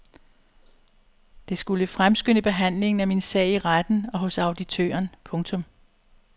Det skulle fremskynde behandlingen af min sag i retten og hos auditøren. punktum